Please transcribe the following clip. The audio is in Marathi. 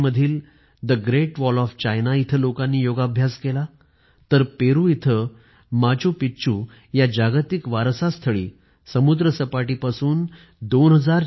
चीनमधील the Great Wall of China इथं लोकांनी योगाभ्यास केला तर पेरू इथं माचूपिच्चू या जागतिक वारसा स्थळी समुद्र सपाटी पासून २४०० मीटर उंचीवर लोकांनी योगासने केली